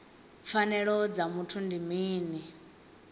pfanelo dza muthu ndi mini